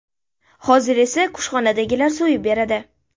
Hozir esa kushxonadagilar so‘yib beradi.